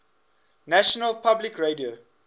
national public radio